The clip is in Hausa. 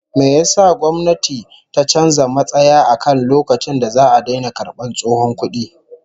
Me yasa gwamnayti ta canza matsaya akan lokacin da za'a daina karbar tsohon kudi?